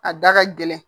A da ka gɛlɛn